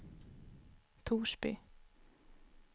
Torsby